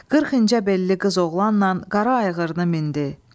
Qırx incə bəlli qız oğlanla qara ayğırını mindi.